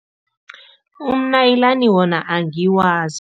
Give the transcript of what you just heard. Umnaliyilani wona angiwazi.